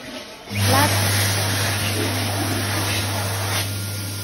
láti ìgbà yẹn ni orí mi ti máa ń gbọn